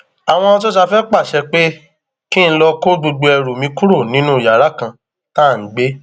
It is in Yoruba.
àwọn sosafe pàṣẹ pé kí n lọọ kó gbogbo ẹrù mi kúrò nínú yàrá kan tá à ń gbé